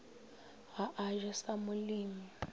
ga a je sa molemi